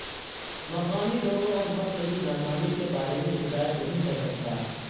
مقامی لوگوں اور فصل کی ناکامی کے بارے میں شکایت نہیں کر سکتا